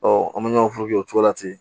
an bɛ ɲɔgɔn o cogo la ten